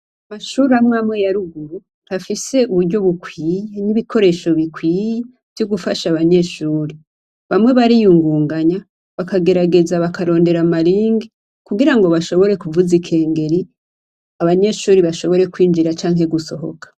Amashure amwamwe ya ruguru, ntafise uburyo bukwiye n'ibikoresho bikwiye vyo gufasha abanyeshure. Bamwe bariyungunganya, bakagerageza bakarondera amayeri, kugira ngo bashobore kuvuza ikengeri, abanyeshure bashobore kwinjira canke gusohoka.